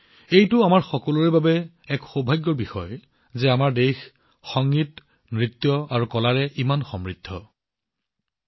এইটো আমাৰ সকলোৰে বাবে ভাগ্যৰ বিষয় যে আমাৰ দেশৰ সংগীত নৃত্য আৰু কলাৰ এনে বিশাল সমৃদ্ধ ঐতিহ্য আছে